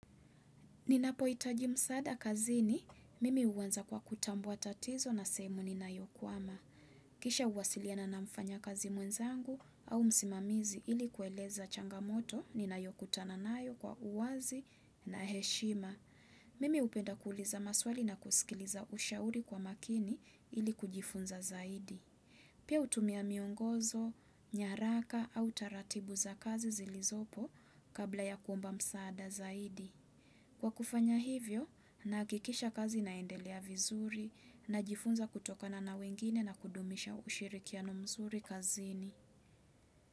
Ninapoitaji msada kazini, mimi uwanza kwa kutambuwa tatizo na sehemu ninayokuama. Kisha uwasiliana na mfanya kazi mwenzangu au msimamizi ili kueleza changamoto nina yokutana nayo kwa uwazi na heshima. Mimi upenda kuuliza maswali na kusikiliza ushauri kwa makini ili kujifunza zaidi. Pia utumia miongozo, nyaraka au taratibu za kazi zilizopo kabla ya kuomba msada zaidi. Kwa kufanya hivyo, nahakikisha kazi inaendelea vizuri najifunza kutokana na wengine na kudumisha ushirikiano mzuri kazini.